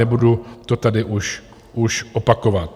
Nebudu to tady už opakovat.